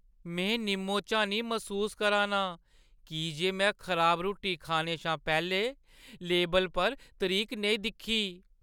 मैं निम्मो-झानी मसूस करा 'रना आं की जे में खराब रुट्टी खाने शा पैह्‌लें लेबलै पर तरीक नेईं दिक्खी।